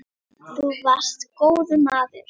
Þú varst góður maður.